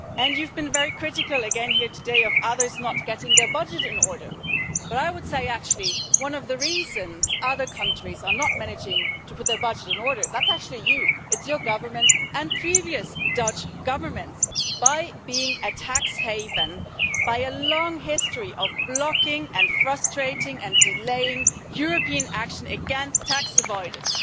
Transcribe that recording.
You've been very critical again here today of others not getting their budget in order, but I would say one of the reasons other countries are not managing to put their budget in order is because of you it's your government and previous Dutch Governments which, by being a tax haven, through a long history of blocking and frustrating and delaying European action against tax avoidance.